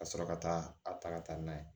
Ka sɔrɔ ka taa a taga n'a ye